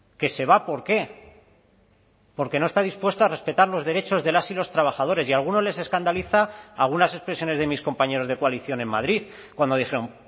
que se va por qué porque no está dispuesto a respetar los derechos de las y los trabajadores y a algunos les escandaliza algunas expresiones de mis compañeros de coalición en madrid cuando dijeron